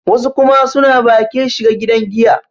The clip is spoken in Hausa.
wasu kuma suna bakin shiga gidan giya